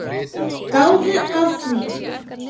Gáðu að því.